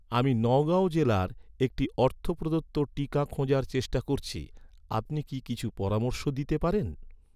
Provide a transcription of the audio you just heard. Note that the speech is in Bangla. আমি নগাঁও জেলায় একটি অর্থ প্রদত্ত টিকা খোঁজার চেষ্টা করছি, আপনি কি কিছু পরামর্শ দিতে পারেন?